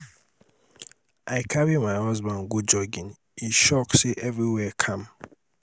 i carry my husband go jogging he shock say everywhere calm.